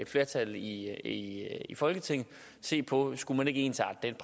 flertal i i folketinget se på ikke skulle ensrette den